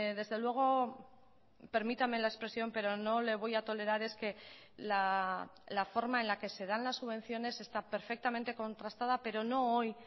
desde luego permítame la expresión pero no le voy a tolerar es que la forma en la que se dan las subvenciones está perfectamente contrastada pero no hoy